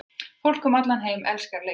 Fólk um allan heim elskar leikinn.